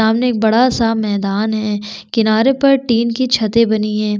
सामने एक बड़ा सा मैदान है किनारे पर टिन की छते बनी है।